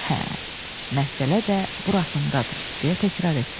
Hə, məsələ də burasındadır, deyə təkrarladı.